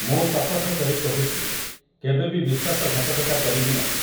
ମୁଁ ଶପଥ କରି କହୁଛି କେବେବି ବିଶ୍ୱାସଘାତକତା କରିବି ନାହିଁ ।